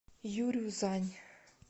юрюзань